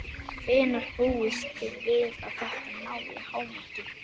Hvenær búist þið við að þetta nái hámarki?